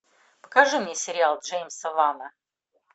покажи мне сериал джеймса вана